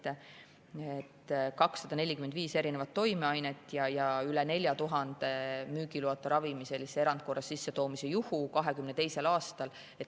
1922. aastal oli 245 erinevat toimeainet ja üle 4000 müügiloata ravimi sellise erandkorras sissetoomise juhtumina kirjas.